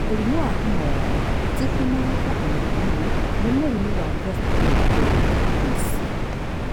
Na mũrimũ wa homa ya nda ti homa ya nda ona hanini nĩ mũrimũ wa gastroenteritis.